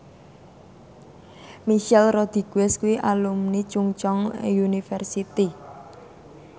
Michelle Rodriguez kuwi alumni Chungceong University